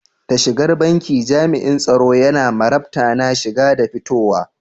Da shigar banki, jam'in tsaro yana marabta na shiga da fitowa.